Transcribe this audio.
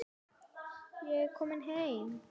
Ég er kominn heim.